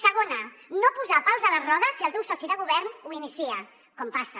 segona no posar pals a les rodes si el teu soci de govern ho inicia com passa